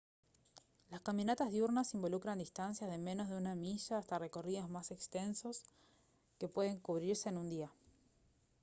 las caminatas diurnas involucran distancias de menos de una milla hasta recorridos más extensos que pueden cubrirse en un día